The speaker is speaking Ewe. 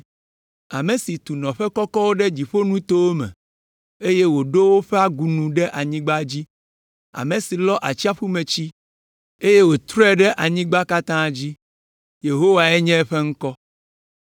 Ame si tu nɔƒe kɔkɔwo ɖe dziƒonutowo me, eye wòɖo woƒe agunu ɖe anyigba dzi, ame si lɔ atsiaƒutsi, eye wòtrɔe ɖe anyigba katã dzi. Yehowae nye eƒe ŋkɔ.